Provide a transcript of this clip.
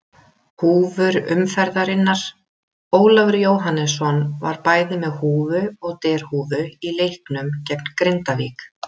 Húfur umferðarinnar: Ólafur Jóhannesson var bæði með húfu og derhúfu í leiknum gegn Grindavík.